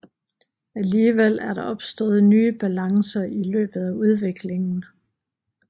Alligevel er der opstået nye balancer i løbet af udviklingen